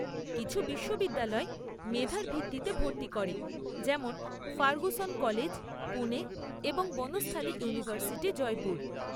কিছু বিশ্ববিদ্যালয় মেধার ভিত্তিতে ভর্তি করে, যেমন ফার্গুসন কলেজ, পুণে এবং বনস্থালী ইউনিভার্সিটি, জয়পুর।